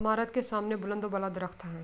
امارات کے سامنے درخت ہے۔